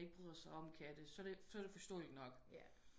Ikke bryder sig om katte så er det foreståelidt nok